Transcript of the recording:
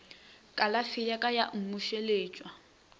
kalafi ya ka ya mmušeletšwa